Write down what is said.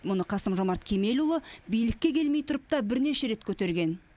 мұны қасым жомарт кемелұлы билікке келмей тұрып та бірнеше рет көтерген